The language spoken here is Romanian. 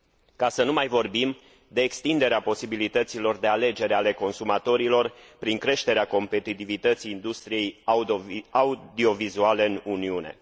ca să nu mai vorbim de extinderea posibilităților de alegere ale consumatorilor, prin creșterea competitivității industriei audiovizuale în Uniune.